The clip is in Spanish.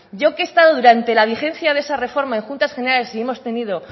yo que he estado durante la vigencia de esa reforma en juntas generales y hemos tenido